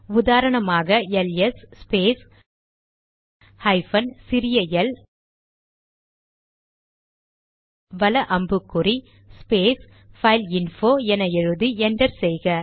உதாரணமாக L S space hyphen சிறிய L வல அம்புக்குறி ஸ்பேஸ் பைல்இன்போ என எழுதி என்டர் செய்க